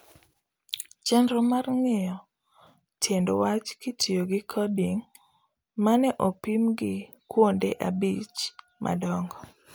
Chenro mar ng'iyo tiend wach kitiyo gi coding ma ne opimi gi kuonde abich madongo